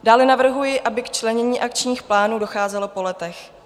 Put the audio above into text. Dále navrhuji, aby k členění akčních plánů docházelo po letech.